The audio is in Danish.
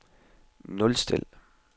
nulstil